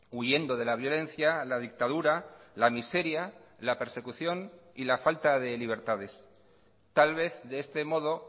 huyendo de la violencia la dictadura la miseria la persecución y la falta de libertades tal vez de este modo